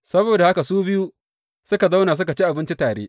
Saboda haka su biyu suka zauna suka ci abinci tare.